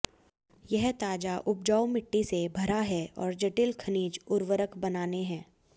यह ताजा उपजाऊ मिट्टी से भरा है और जटिल खनिज उर्वरक बनाने है